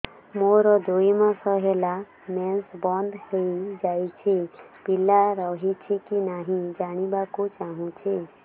ମୋର ଦୁଇ ମାସ ହେଲା ମେନ୍ସ ବନ୍ଦ ହେଇ ଯାଇଛି ପିଲା ରହିଛି କି ନାହିଁ ଜାଣିବା କୁ ଚାହୁଁଛି